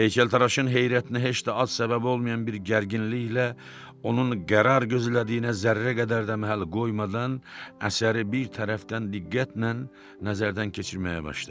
Heykəltaraşın heyrətinə heç də az səbəbi olmayan bir gərginliklə onun qərar gözlədiyinə zərrə qədər də məhəl qoymadan əsəri bir tərəfdən diqqətlə nəzərdən keçirməyə başladı.